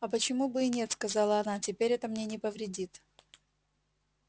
а почему бы и нет оказала она теперь это мне не повредит